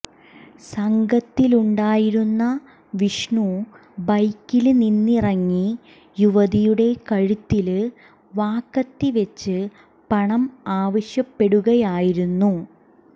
സംഘത്തിലുണ്ടായിരുന്ന വിഷ്ണു ബൈക്കില് നിന്നിറങ്ങി യുവതിയുടെ കഴുത്തില് വാക്കത്തിവെച്ച് പണം ആവശ്യപ്പെടുകയായിരുന്നു